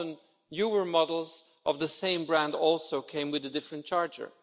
Often newer models of the same brand also came with a different charger.